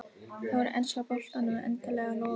Þá er enska boltanum endanlega lokið.